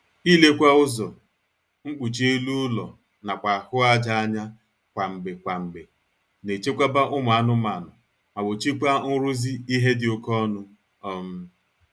Ilekwa ụzọ, mkpuchi elu ụlọ nakwa ahụ aja anya kwa mgbe kwa mgbe na-echekwaba ụmụ anụmaanụ ma gbochikwaa nrụzi ihe dị oké ọnụ um